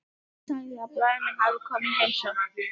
Sagði að bróðir minn hefði komið í heimsókn.